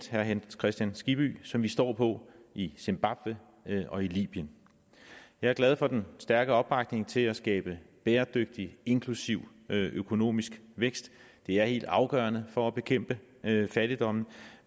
herre hans kristian skibby som vi står på i zimbabwe og i libyen jeg er glad for den stærke opbakning til at skabe bæredygtig inklusiv økonomisk vækst det er helt afgørende for at bekæmpe fattigdommen